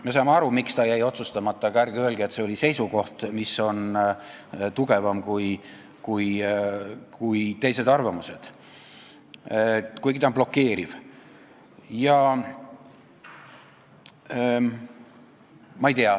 Me saame aru, miks see jäi otsustamata, aga ärge öelge, et see oli seisukoht, mis on tugevam kui teised arvamused, kuigi ta on blokeeriv.